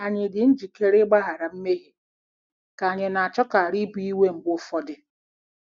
Ànyị ' dị njikere ịgbaghara mmehie ,' ka ànyị na-achọkarị ibu iwe mgbe ụfọdụ?